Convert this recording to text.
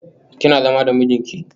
Kina zama da mijinki?